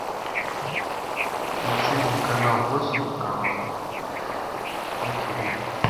включи мне канал восемь канал на тиви